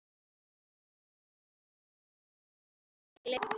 En hvaða ráð er hægt að gefa í þessu máli?